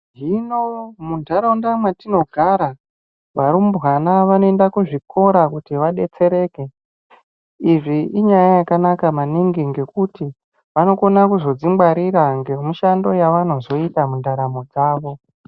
Zvino muntaraunda mwetinogara, varumbwana vanoenda kuzvikora kuti vadetsereke. Izvi inyaya yakanaka maningi ,ngekuti vanokone kuzodzingwarira ngemishando yavanozoita mundaramo dzavo.